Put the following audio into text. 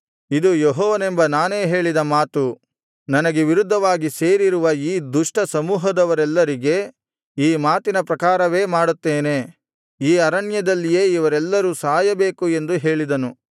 ಇದು ಯೆಹೋವನೆಂಬ ನಾನೇ ಹೇಳಿದ ಮಾತು ನನಗೆ ವಿರುದ್ಧವಾಗಿ ಸೇರಿರುವ ಈ ದುಷ್ಟ ಸಮೂಹದವರೆಲ್ಲರಿಗೆ ಈ ಮಾತಿನ ಪ್ರಕಾರವೇ ಮಾಡುತ್ತೇನೆ ಈ ಅರಣ್ಯದಲ್ಲಿಯೇ ಇವರೆಲ್ಲರೂ ಸಾಯಬೇಕು ಎಂದು ಹೇಳಿದನು